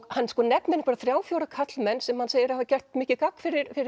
hann nefnir þrjá fjóra karlmenn sem hann segir hafa gert mikið gagn fyrir